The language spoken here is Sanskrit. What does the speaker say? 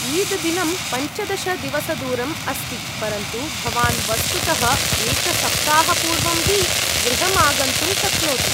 ईद् दिनं पञ्चदश दिवसदूरम् अस्ति, परन्तु भवान् वस्तुतः एकसप्ताहपूर्वं हि गृहम् आगन्तुं शक्नोति ।